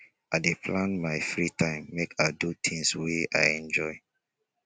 i dey plan my free time make i do things wey i enjoy